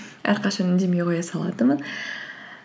әрқашан үндемей қоя салатынмын